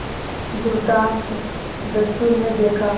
दुर्दांत दस्यु ने देखा